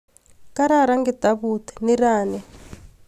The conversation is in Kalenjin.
kararan kitabut nirani